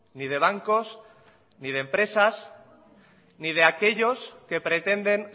ni de bancos ni de empresas ni de aquellos que pretenden